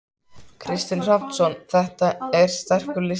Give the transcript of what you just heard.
Kristinn Hrafnsson: Þetta er sterkur listi?